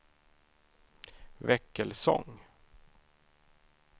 Väckelsång